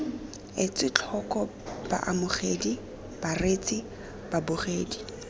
etswe tlhoko baamogedi bareetsi babogedi